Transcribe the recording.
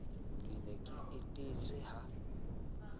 ke ne ke etetse ha